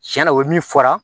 Tiɲɛna o ye min fɔra